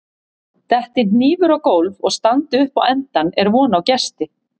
detti hnífur á gólf og standi upp á endann er von á gesti